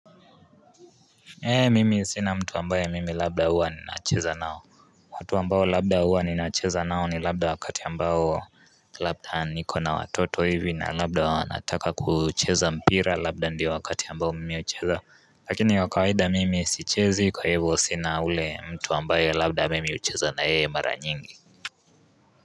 Hee mimi sina mtu ambaye mimi labda huwa ninacheza nao watu ambao labda huwa ninacheza nao ni labda wakati ambao labda niko na watoto hivi na labda wanataka kucheza mpira labda ndia wakati ambao mimi hucheza lakini wakawaida mimi sichezi kwa hivo sina ule mtu ambaye labda mimi hucheza na yeye mara nyingi.